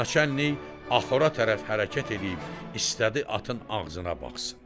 naçəllik axura tərəf hərəkət eləyib istədi atın ağzına baxsın.